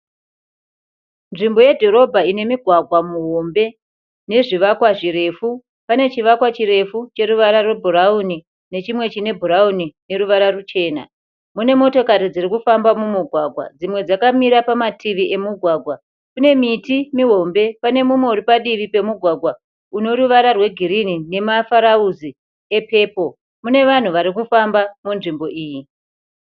Nzvimbo yedhorobha ine mugwagwa muhombe nezvivakwa zvirefu. Pane chivakwa chirefu cheruvara rwebhurawuni nechimwe chine bhurawuni neruvara ruchena. Mune motokari dziri kufamba mumugwagwa. Dzimwe dzakamira pamativi emugwagwa. Kune miti mihombe. Pane mumwe uri padivi pemugwagwa unoruvara rwegirini nemafurawuzi epepuro. Mune vanhu vari kufamba munzvimbo iyi.